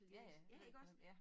Ja ja jeg ved hvem ja